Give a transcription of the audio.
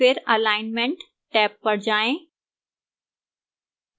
फिर alignment tab पर जाएं